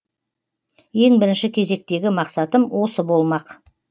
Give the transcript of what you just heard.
ең бірінші кезектегі мақсатым осы болмақ